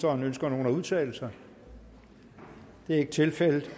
ønsker nogen at udtale sig det er ikke tilfældet